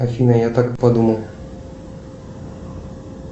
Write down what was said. афина я так и подумал